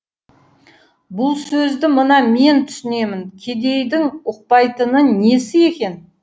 бұл сөзді мына мен түсінемін кедейдің ұқпайтыны несі екен